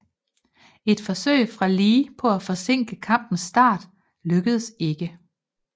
Et forsøg fra Lee på at forsinke kampens start lykkedes ikke